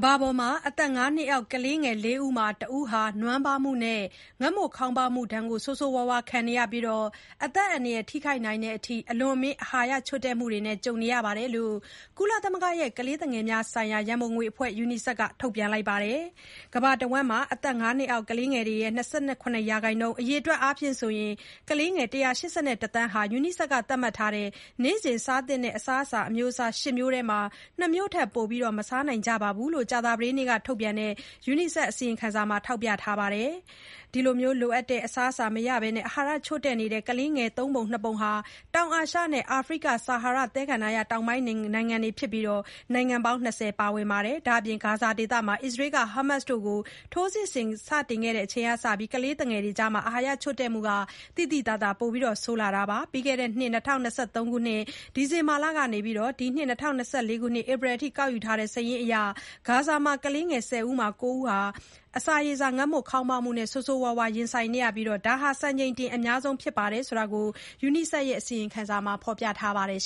ဘာပေါ်က အသက် ၅ နှစ်အောက်ကလေး ၄ ဦးမှာ ၁ ဦးက နွမ်းပါးမှုနဲ့ ငတ်မွတ်ခေါင်းပါးမှုဒဏ်ကို ဆိုးဆိုးရွားရွား ခံနေရပြီး အသက်အန္တရာယ် ထိခိုက်နိုင်တဲ့အထိ အလွန်အမင်း အာဟာရချို့တဲ့မှုနဲ့ ကြုံနေရတယ်လို့ ကုလသမဂ္ဂရဲ့ ကလေးငယ်များ ဆိုင်ရာ ရန်ပုံငွေအဖွဲ့ UNICEF က ထုတ်ပြန်ပါတယ်။ ကမ္ဘာတဝန်း အသက် ၅ နှစ်အောက် ကလေးတွေရဲ့ ၂၇% ၊ အရေအတွက် အားဖြင့် ကလေးငယ် ၁၈၁ သန်းဟာ UNICEF က သတ်မှတ်ထားတဲ့ နေ့စဉ်စားသင့်တဲ့ အစာအမျိုးအစား ၈ မျိုးထဲမှာ၊ ၂ မျိုးထက် ပို မစားနိုင်ကြဘူးလို့ ကြာသပတေးနေ့က ထုတ်ပြန်တဲ့ UNICEF က အစီရင်ခံစာထဲမှာ ထောက်ပြခဲ့ပါတယ်။ ဒီလို လိုအပ်တဲ့ အစားအစာ မရဘဲ အာဟာရချို့တဲ့နေတဲ့ ကလေးတွေရဲ့ သုံးပုံ နှစ်ပုံဟာ တောင်အာရှနဲ့ အာဖရိက ဆာဟာရ သဲကန္တာရ တောင်ပိုင်းနိုင်ငံတွေက ဖြစ်ပြီး နိုင်ငံပေါင်း ၂၀ ပါဝင်တယ်လို့ UNICEF က ဆက်ထောက်ပြခဲ့ပါတယ်။ ဒါ့အပြင် ဂါဇာဒေသမှာလည်း အစ္စရေးက ဟာမတ်စ်တွေအပေါ် ထိုးစစ်ဆင်တာတွေ စခဲ့ချိန်ကစလို့ ကလေးငယ်တွေကြား အာဟာရ ချို့တဲ့မှုက သိသိသာသာ ပိုဆိုးလာခဲ့ပါတယ်။ ပြီးခဲ့တဲ့နှစ် ၂၀၂၃ ခုနှစ် ဒီဇင်ဘာလ ကနေ ဒီနှစ် ၂၀၂၄ ခုနှစ် ဧပြီလ အထိ ကောက်ယူခဲ့တဲ့ စာရင်းအရ ဂါဇာမှာ ကလေး ၁၀ ဦးမှာ ၉ ဦး အစာရေစာ ငတ်မွတ်ခေါင်းပါးမှု ဆိုးဆိုးရွားရွား ကြုံနေရပြီး ဒါဟာ စံချိန်တင် အများဆုံးနှုန်း ဖြစ်တယ်လို့ UNICEF အစီရင်ခံစာမှာ ဖော်ပြထားပါတယ်